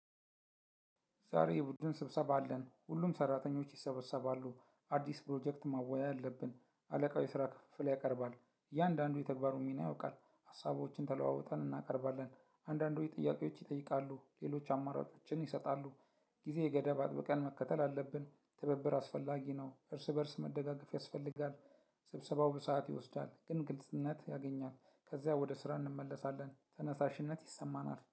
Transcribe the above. ዛሬ የቡድን ስብሰባ አለን ሁሉም ስራተኞች ይሰበሰባሉ። አዲስ ፕሮጀክት መወያያ አለብን አለቃው የስራ ክፍፍል ያቀርባል። እያንዳንዱ የተግባሩን ሚና ያውቃል ሀሳቦችን ተለዋውጠን እናቀርባለን። አንዳንዶች ጥያቄዎች ይጠይቃሉ ሌሎች አማራጮችን ይሰጣሉ። ጊዜ የገደብ አጥብቀን መከተል አለብን ትብብር አስፈላጊ ነው እርስ በእርስ መደጋገፍ ያስፈልጋል። ስብሰባው በሰአት ይወስዳል ግን ግልጽነት ያገኛል። ከዚያ ወደ ስራ እንመለሳለን ተነሳሽነት ይሰማናል